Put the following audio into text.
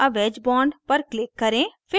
add a wedge bond पर click करें